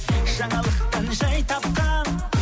жаңалықтан жай тапқан